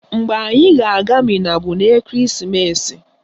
Mgbe anyị ga-aga Minna bụ n'ekeresimeesi